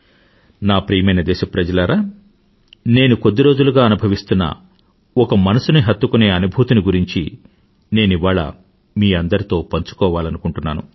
నా ప్రియమైన దేశ ప్రజలారా నేను కొద్దిరోజులుగా నేను చెందుతున్న ఒక ఒక మనసుని హత్తుకునే అనుభూతిని గురించి నేనివాళ మీ అందరితో పంచుకోవాలనుకుంటున్నాను